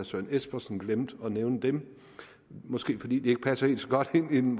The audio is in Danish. søren espersen glemte at nævne dem måske fordi de ikke passer helt så godt ind